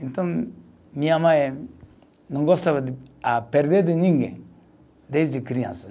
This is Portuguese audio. Então, minha mãe não gostava de a, perder de ninguém desde criança.